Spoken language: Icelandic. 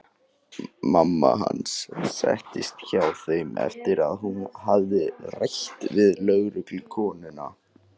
Mamma hans settist hjá þeim eftir að hún hafði rætt við lögreglukonurnar.